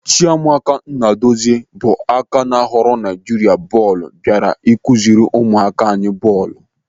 Chiamaka Nnadozie bụ aka ná ghọrọ Naijiria bọọlụ bịara ịkụziri ụmụaka anyị bọọlụ.